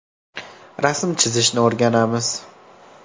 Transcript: Rasm chizishni o‘rganamiz.